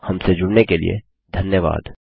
हमसे जुड़ने के लिए धन्यवाद